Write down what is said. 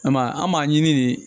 An m'a ye an b'a ɲini de